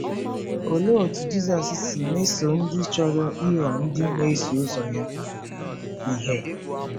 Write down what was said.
Olee otú Jizọs si mesoo ndị chọrọ ịghọ ndị na-eso ụzọ ya ihe?